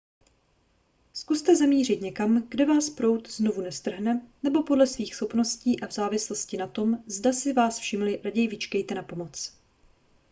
zkuste zamířit někam kde vás proud znovu nestrhne nebo podle svých schopností a v závislosti na tom zda si vás všimli raději vyčkejte na pomoc